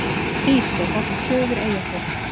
Hrísey, horft suður Eyjafjörð.